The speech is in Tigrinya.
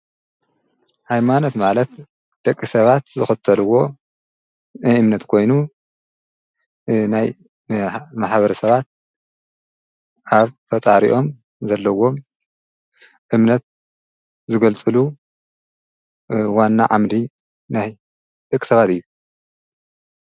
ሃይማኖት ማለት ደቂ ሰባት ዝኽተልዎ እምነት ኮይኑ ናይ ማሕበረሰባት ኣብ ፈጣሪኦም ዘለዎ እምነት ዘገልፅሉ ዋና ዓምዲ ናይ ደቂ ሰባት እዩ።